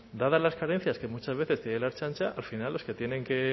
dadas las carencias que muchas veces tiene la ertzaintza al final los que tienen que